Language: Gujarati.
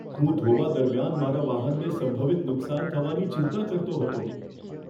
હું ધોવા દરમિયાન મારા વાહનને સંભવિત નુકસાન થવાની ચિંતા કરતો હતો.